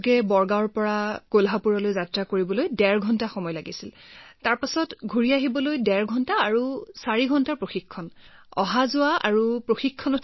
বদগাঁৱৰ পৰা বাছেৰে কলহাপুৰলৈ যাবলৈ ডেৰ ঘণ্টা সময় লাগে তাৰ পিছত উভতি আহিবলৈ ডেৰ ঘণ্টা সময় লাগে আৰু চাৰি ঘণ্টাৰ প্ৰশিক্ষণ গতিকে এনেকৈয়ে ৬৭ ঘণ্টাৰ প্ৰয়োজন হয়